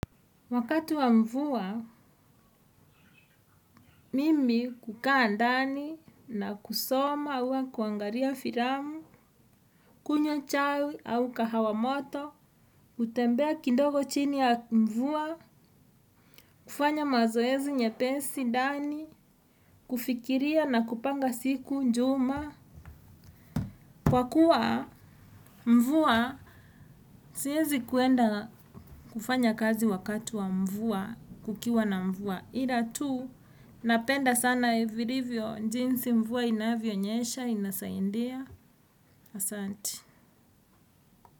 Wakati wa mvua mimi kukaa dani na kusoma uwa kuangaria firamu, kunyowa chai au kahawamoto, utembea kindogo chini ya mvua, kufanya mazoezi nyepensi dani, kufikiria na kupanga siku njuma. Kwa kuwa mvua siyezi kuenda kufanya kazi wakati wa mvua kukiwa na mvua. Ila tu napenda sana virivyo jinsi mvua inavionyesha inasaindia. Asante.